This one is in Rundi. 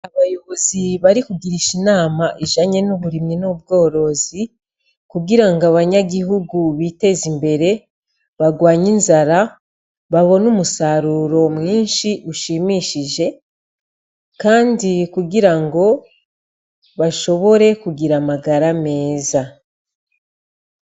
Abayobozi bari kugirisha inama ijanye n'uburimi n'ubworozi, kugira ngo abanyagihugu biteze imbere, barwanye inzara, babone umusaruro mwinshi ushimishije, kandi kugira ngo bashobore kugira amagara ameza.